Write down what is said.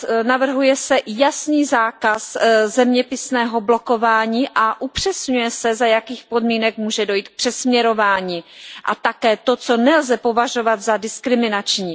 Navrhuje se jasný zákaz zeměpisného blokování a upřesňuje se, za jakých podmínek může dojít k přesměrování, a také to, co nelze považovat za diskriminační.